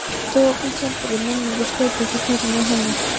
Þokukenndri minningu skaut upp í kollinum á henni.